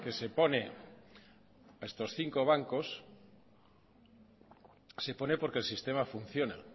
se pone a estos cinco bancos se pone porque el sistema funciona